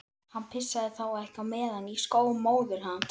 Hann pissaði þá ekki á meðan í skó móður hans.